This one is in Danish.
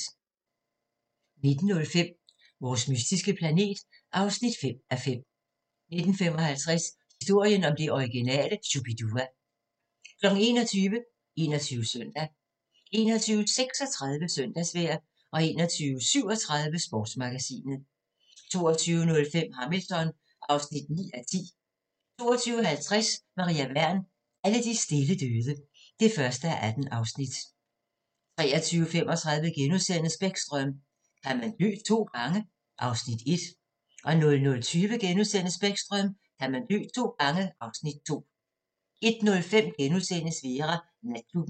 19:05: Vores mystiske planet (5:5) 19:55: Historien om det originale Shu-bi-dua 21:00: 21 Søndag 21:36: Søndagsvejr 21:37: Sportsmagasinet 22:05: Hamilton (9:10) 22:50: Maria Wern: Alle de stille døde (1:18) 23:35: Bäckström: Kan man dø to gange? (Afs. 1)* 00:20: Bäckström: Kan man dø to gange? (Afs. 2)* 01:05: Vera: Natklubben *